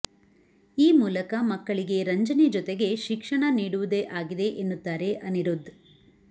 ಈ ಮೂಲಕ ಮಕ್ಕಳಿಗೆ ರಂಜನೆ ಜೊತೆಗೆ ಶಿಕ್ಷಣ ನೀಡುವುದೇ ಆಗಿದೆ ಎನ್ನುತ್ತಾರೆ ಅನಿರುದ್ಧ್